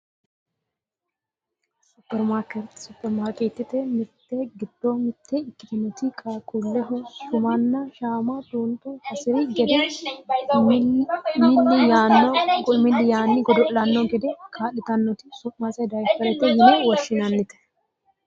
supperimaarkeettete mirte giddo mitte ikkitinoti qaaqquulleho shumanna shama xuuxxe hasiri gede milli yaanni godo'lanno gede kaa'litannoti su'mase dayiipperete yine woshshinannite